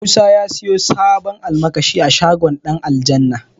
Musa ya siyo sabon almakashi a shagon Ɗanaljanna